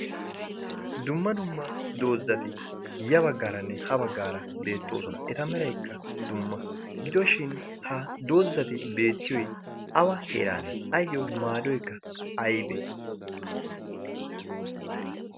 Dumma dumma doozzati ya baggaaranne ha baggaara beettoosona. eta meraykka dumma gidoshin ha doozzati beettiyoy awa heraanee ayyo maadoykka aybbe?